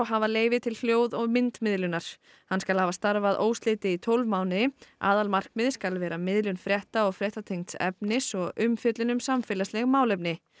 hafa leyfi til hljóð og myndmiðlunar hann skal hafa starfað óslitið í tólf mánuði aðalmarkmið skal vera miðlun frétta og fréttatengds efnis og umfjöllun um samfélagsleg málefni